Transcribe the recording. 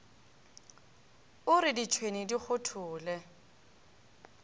o re ditšhwene di kgothole